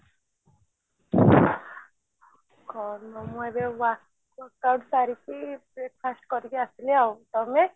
କଣ ମୁଁ ଏବେ workout ସାରିକି breakfast କରିକି ଆସିଲି ଆଉ ତମେ